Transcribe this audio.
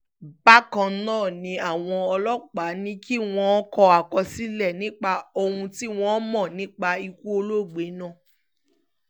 bákan náà ni àwọn ọlọ́pàá ní kí wọ́n kọ àkọsílẹ̀ nípa ohun tí wọ́n mọ̀ nípa ikú olóògbé náà